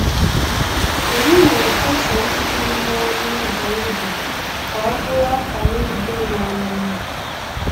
Anyị na-efesa mmiri n’ọnụ ụzọ ubi ka ọ bụrụ akara udo na ọmụmụ